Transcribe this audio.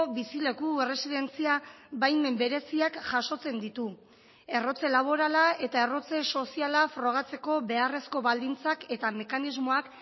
bizileku erresidentzia baimen bereziak jasotzen ditu errotze laborala eta errotze soziala frogatzeko beharrezko baldintzak eta mekanismoak